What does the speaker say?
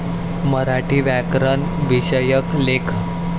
मराठी व्याकरण विषयक लेख